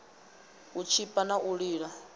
u tshipa na u lila